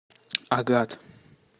агат